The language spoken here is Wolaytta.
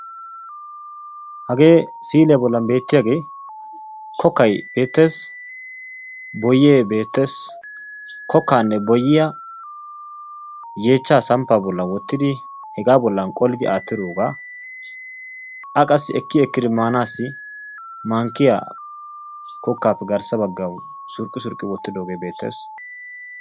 Hagee siiliyaa bollan beettiyaagee kokkay beettees. boyee beettees. kokkaanne boyyiyaa yeechchaa samppaa bolli wottidi hegaa bolli qolidi aattidoogaa a qassi ekki ekkidi maanaassi mankkiya kokkaappe garssa baggi surqqi surqqi wottidoogee beettees.